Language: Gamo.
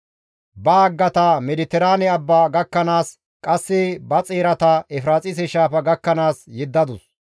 Ba haggata Mediteraane Abba gakkanaas qasse ba xeerata Efiraaxise Shaafa gakkanaas yeddadus.